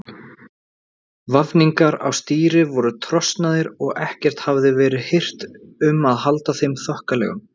Vafningar á stýri voru trosnaðir og ekkert hafði verið hirt um að halda þeim þokkalegum.